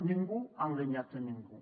ningú ha enganyat a ningú